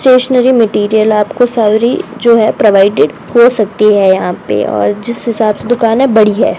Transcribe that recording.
Stationery material आपको सारी जो है प्रोवाइडेड हो सकती है यहां पे और जिस हिसाब से दुकान है बड़ी है।